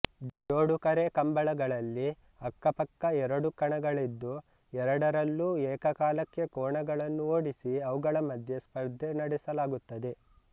ಜೋಡುಕರೆ ಕಂಬಳಗಳಲ್ಲಿ ಅಕ್ಕಪಕ್ಕ ಎರಡು ಕಣಗಳಿದ್ದು ಎರಡರಲ್ಲೂ ಏಕಕಾಲಕ್ಕೆ ಕೋಣಗಳನ್ನು ಓಡಿಸಿ ಅವುಗಳ ಮಧ್ಯೆ ಸ್ಪರ್ಧೆ ನಡೆಸಲಾಗುತ್ತದೆ